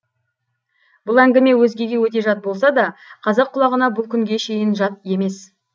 бұл әңгіме өзгеге өте жат болса да қазақ құлағына бұл күнге шейін жат емес